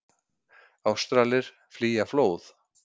Ástralir flýja flóð